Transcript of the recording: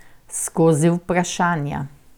Skozi vprašanja.